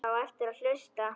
Það á eftir að hlusta.